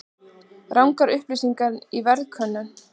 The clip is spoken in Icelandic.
Rangar upplýsingar í verðkönnun